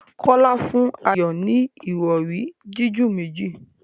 Kola fún Ayo ní Ìrọ̀rí jiju méjì